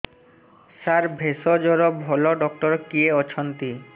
ସାର ଭେଷଜର ଭଲ ଡକ୍ଟର କିଏ ଅଛନ୍ତି